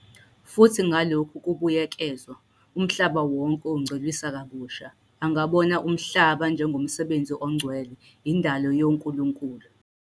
Futhi ngalokhu kubuyekezwa, umhlaba wonke ungcweliswa kabusha angabona umhlaba njengomsebenzi ongcwele, indalo yonkulunkulu.